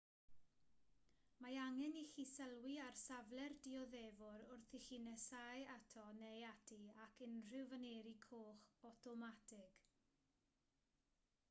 mae angen i chi sylwi ar safle'r dioddefwr wrth i chi nesáu ato neu ati ac unrhyw faneri coch awtomatig